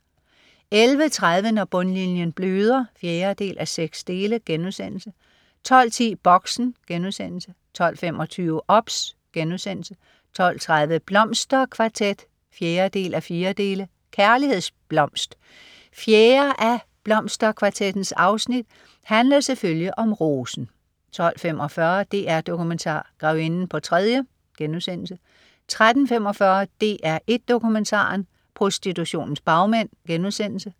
11.30 Når bundlinjen bløder 4:6* 12.10 Boxen* 12.25 OBS* 12.30 Blomsterkvartet 4:4. Kærlighedsblomst. Fjerde af "Blomsterkvartettens" afsnit handler selvfølgelig om rosen 12.45 DR Dokumentar. Grevinden på tredje* 13.45 DR1 Dokumentaren. Prostitutionens bagmænd*